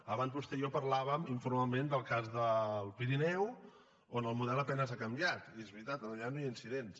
abans vostè i jo parlàvem informalment del cas del pirineu on el model a penes ha canviat i és veritat allà no hi ha incidents